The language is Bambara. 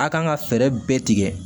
A' kan ka fɛɛrɛ bɛɛ tigɛ